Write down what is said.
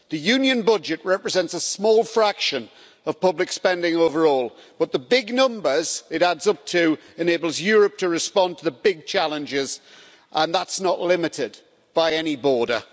The Union budget represents a small fraction of public spending overall, but the big numbers it adds up to enable Europe to respond to the big challenges, and that's not limited by any border.